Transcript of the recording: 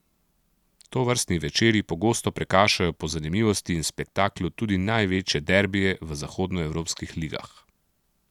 Tovrstni večeri pogosto prekašajo po zanimivosti in spektaklu tudi največje derbije v zahodnoevropskih ligah.